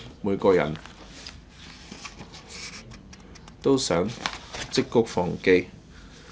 每個人都會責罵他。